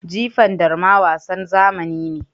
Jifan darma wasan zamani ne.